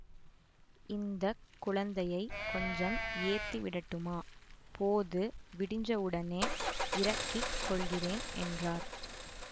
இந்த குழந்தையை கொஞ்சம் ஏத்தி விடட்டுமா போது விடிஞ்சவுடனே இறக்கிக் கொள்கிறேன் என்றார்